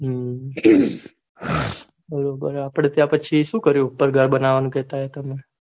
હમ અપડે ત્યાં સુ કર્યું બનવાનું કેહતા હતા ને